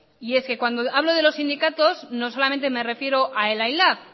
y es que cuando hablo de los sindicatos no solamente me refiero a ela y lab